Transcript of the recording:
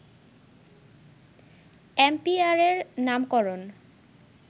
অ্যাম্পিয়ারের নামকরণ